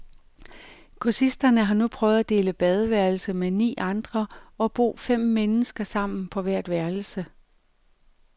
Kursisterne har nu prøvet at dele badeværelse med ni andre og bo fem mennesker sammen på hvert værelse.